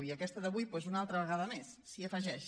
i aquesta d’avui doncs una altra vegada més s’hi afegeix